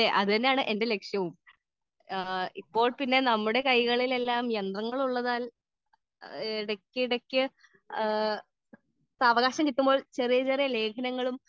speaker 2 അതെ അത് തന്നെയാണ് എന്റെ ലക്ഷ്യവും ഇപ്പോൾ നമ്മുടെ കൈകളിൽ യന്ത്രങ്ങൾ ഉള്ളതിനാൽ ഇടക്കിടക്ക് സാവകാശം കിട്ടുമ്പോൾ